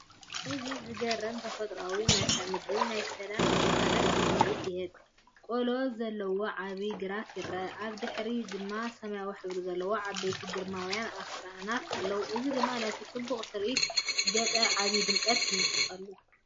እዚ ዘገርም ተፈጥሮኣዊ መልክዓ ምድሪ ናይ ሰላምን ቅሳነትን ስምዒት ይህብ! ቆሎ ዘለዎ ዓቢ ግራት ይርአ። ኣብ ድሕሪት ድማ ሰማያዊ ሕብሪ ዘለዎም ዓበይቲን ግርማውያንን ኣኽራናት ኣለዉ፣ እዚ ድማ ነቲ ጽቡቕ ትርኢት ገጠር ዓቢ ድምቀት ይውስኸሉ።